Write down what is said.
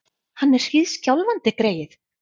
Hann er hríðskjálfandi, greyið!